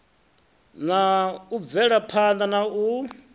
na u bvelaphana na u